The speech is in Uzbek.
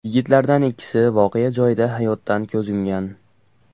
Yigitlardan ikkisi voqea joyida hayotdan ko‘z yumgan.